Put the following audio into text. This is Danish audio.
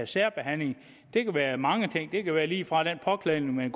særbehandling det kan være mange ting det kan være lige fra påklædning